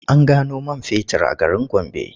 An gano man fetur a garin Gombe.